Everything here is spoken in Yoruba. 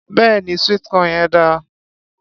Béèni sweet corn yẹn dáa.